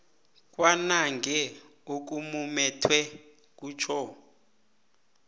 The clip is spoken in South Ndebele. kwanange okumumethweko kutjho